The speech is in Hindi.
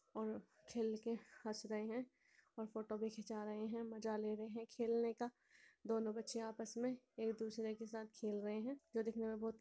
और खेल के हंस रहे हैं और फोटो भी घिंचा रहे हैं मजा ले रहे हैं खेलने का दोनों बच्चियाँ आपस में एक दूसरे के साथ खेल रहे हैं जो देखने में बहुत --